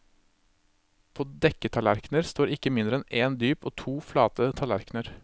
På dekketallerkener står ikke mindre enn én dyp og to flate tallerkener.